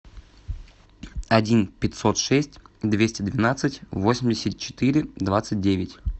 один пятьсот шесть двести двенадцать восемьдесят четыре двадцать девять